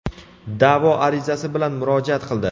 da’vo arizasi bilan murojaat qildi.